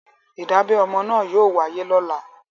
Ìdábẹ ọmọ náà yóò wáyé lọ́la.